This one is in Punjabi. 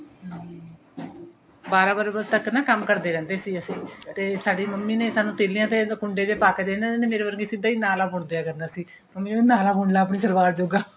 ਹਮ ਬਾਰਾਂ ਬਾਰਾਂ ਵਜੇ ਤੱਕ ਕੰਮ ਕਰਦੇ ਰਹਿੰਦੇ ਸੀ ਅਸੀਂ ਤੇ ਸਾਡੀ ਮੰਮੀ ਨੇ ਸਾਨੂੰ ਤੀਲਿਆ ਤੇ ਕੁੰਡੇ ਜੇ ਪਾਕੇ ਦੇ ਦੇਣੇ ਮੇਰੇ ਵਰਗੀ ਸਿਧਾ ਨਾਲਾ ਬੁਨਦਿਆ ਕਰਦੀ ਸੀ ਮੰਮੀ ਨੇ ਕਹਿਣਾ ਨਾਲਾ ਬੁੰਨ ਲੈ ਆਪਣੀ ਸਲਵਾਰ ਜੋਗਾ